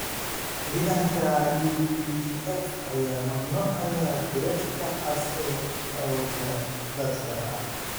Ciidanka UPDF ayaa mamnuucaya Beret-ka cas ee awoodda dadka